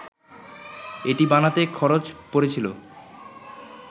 এটি বানাতে খরচ পড়েছিল